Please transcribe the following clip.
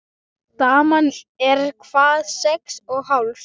Daman er hvað. sex og hálfs?